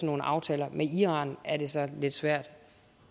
nogle aftaler med iran er det så lidt svært